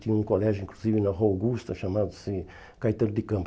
Tinha um colégio, inclusive, na Rua Augusta, chamado Caetano de Campos.